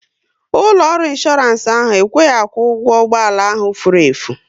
Ụlọ ọrụ insooransi ahụ ekweghị akwụ ụgwọ ụgbọala ahụ furu efu